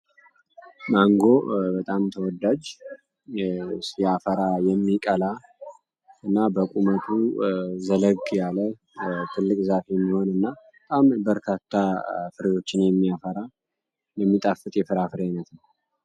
ማንጎ በጣም ተወዳጅ ያፈራ የሚቀላ እና በቁመቱ ዘለግ ያለ ትልቅ ዛፊ የሚሆን እና በጣም በርታታ ፍርሎችን የሚያራ የሚጣፍት የፍራፍር አይነት ነው፡፡